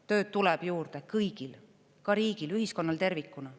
Tööd tuleb juurde kõigil, ka riigil, ühiskonnal tervikuna.